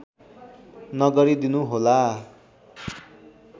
नगरिदिनु होला